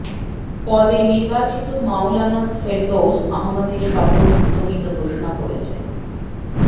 পদে নির্বাচিত মাওলানা ফেরদৌস আহমেদ এর শপথ স্থগিত ঘোষণা করেছে